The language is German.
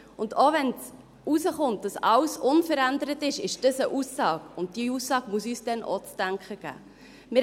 Auch wenn herauskommt, dass alles unverändert ist, ist das eine Aussage, und diese Aussage muss uns dann auch zu denken geben.